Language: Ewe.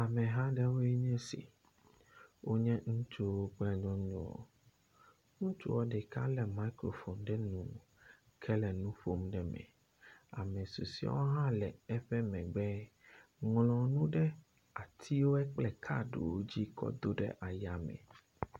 Ameha aɖewoe nye esi. Wonye ŋutsuwo kple nyɔnuwo. Ŋutsua ɖeka le mikrofoni ɖe nu ke le nu ƒom ɖe me. Ame susɔewo hã le eƒe megbe ŋlɔ nu ɖe atiwoe kple kaɖiwo dzi kɔ do ɖe aya me.